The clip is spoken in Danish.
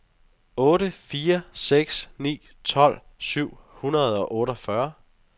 otte fire seks ni tolv syv hundrede og otteogfyrre